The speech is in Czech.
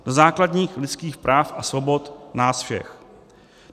Do základních lidských práv a svobod nás všech.